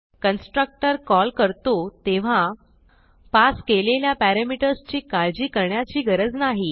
constructor call करतो तेव्हा pass केलेल्या पॅरामीटर्स ची काळजी करण्याची गरज नाही